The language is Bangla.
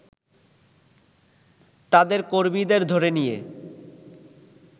তাদের কর্মীদের ধরে নিয়ে